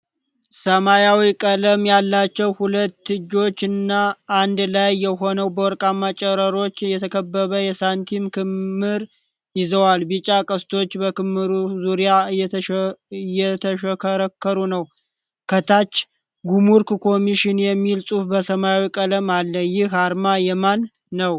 ሰማያዊ ቀለም ያላቸው ሁለት እጆች አንድ ላይ ሆነው በወርቃማ ጨረሮች የተከበበ የሳንቲም ክምር ይዘዋል። ቢጫ ቀስቶች በክምሩ ዙሪያ እየተሽከረከሩ ነው። ከታች “ጉምሩክ ኮሚሽን” የሚል ጽሑፍ በሰማያዊ ቀለም አለ። ይህ አርማ የማን ነው?